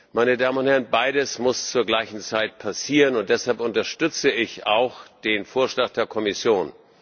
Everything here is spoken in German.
Meine Damen und Herren, beides muss zur gleichen Zeit passieren, und deshalb unterstütze ich auch den Vorschlag der Kommission.